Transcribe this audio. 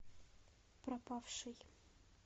пропавший